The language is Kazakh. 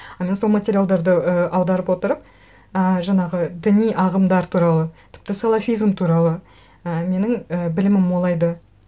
а мен сол материалдарды ы аударып отырып і жаңағы діни ағымдар туралы тіпті салафизм туралы і менің і білімім молайды